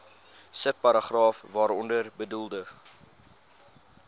subparagraaf waaronder bedoelde